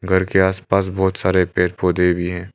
घर के आस पास बहोत सारे पेड़ पौधे भी है।